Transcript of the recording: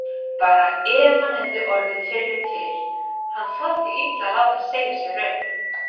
Bara ef hann hefði orðið fyrri til, hann þoldi illa að láta segja sér upp.